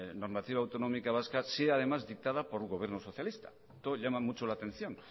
normativa autonómica vasca sea además dictada por un gobierno socialista esto llama mucho la atención